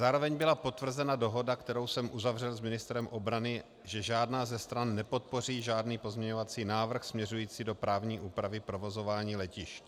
Zároveň byla potvrzena dohoda, kterou jsem uzavřel s ministrem obrany, že žádná ze stran nepodpoří žádný pozměňovací návrh směřující do právní úpravy provozování letišť.